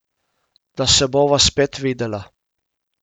Da se bova spet videla.